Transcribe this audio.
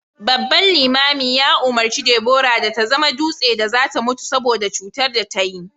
babban limamin ya umurci Debora da ta zama dutse da za ta mutu saboda cutar da ta yi